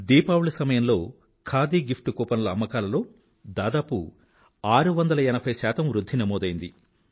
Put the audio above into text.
దీపావళి సమయంలో ఖాదీ గిఫ్ట్ కూపన్ల అమ్మకాలలో దాదాపు 680 శాతం వృధ్ధి నమోదైంది